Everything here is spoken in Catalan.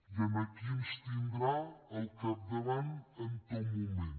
i aquí ens tindrà al capdavant en tot moment